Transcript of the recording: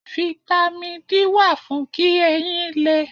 Fítámì D wà fún kí eyín lé.